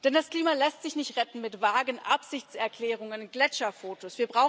Denn das Klima lässt sich nicht retten mit vagen Absichtserklärungen und Gletscherfotos.